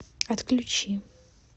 отключи